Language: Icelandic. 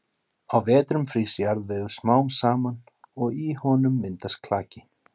Á vetrum frýs jarðvegur smám saman og í honum myndast klaki.